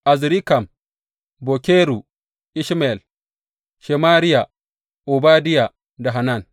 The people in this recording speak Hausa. Azrikam, Bokeru, Ishmayel, Sheyariya, Obadiya da Hanan.